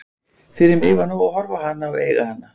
Fyrir mig var nóg að horfa á hana og eiga hana.